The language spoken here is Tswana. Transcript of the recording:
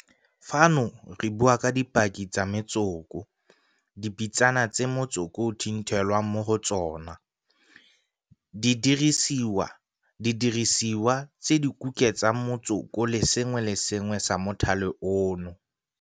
Fano re bua ka dipaki tsa metsoko, dipitsana tse motsoko o thinthelwang mo go tsona, didirisiwa tse di kuketsang motsoko le sengwe le sengwe sa mothale ono.